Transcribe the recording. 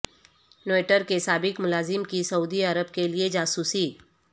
Twitter کے سابق ملازم کی سعودی عرب کیلئے جاسوسی